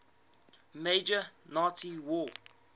major nazi war